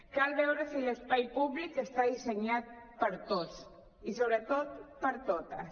cal veure si l’espai públic està dissenyat per a tots i sobretot per a totes